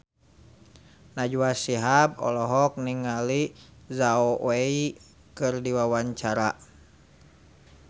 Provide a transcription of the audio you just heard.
Najwa Shihab olohok ningali Zhao Wei keur diwawancara